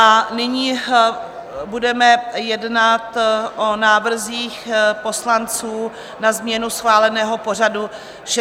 A nyní budeme jednat o návrzích poslanců na změnu schváleného pořadu 16. schůze.